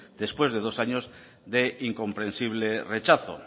después de dos años de incomprensible rechazo